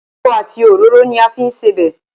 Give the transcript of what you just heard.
Epo àti òróró ni a fi ń sebẹ̀.